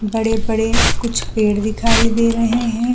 बड़े-बड़े कुछ पेड़ दिखाई दे रहे है।